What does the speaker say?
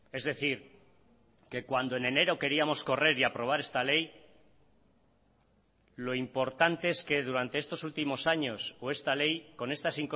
es decir que cuando en enero queríamos correr y aprobar esta ley lo importante es que durante estos últimos años o esta ley con estas